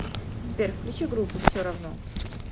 сбер включи группу всеравно